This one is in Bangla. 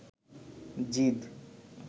জিদ